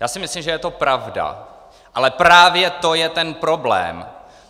Já si myslím, že je to pravda, ale právě to je ten problém.